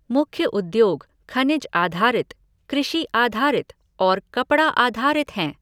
मुख्य उद्योग खनिज आधारित, कृषि आधारित और कपड़ा आधारित हैं।